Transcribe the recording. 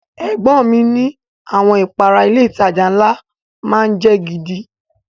Ẹ̀gbọ́n ọn mi ni àwọn ìpara ilé ìtajà ńlá má ń jẹ́ gidi